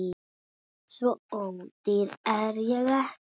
Svo ódýr er ég ekki